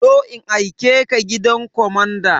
Zo in aikeka gidan kwamanda!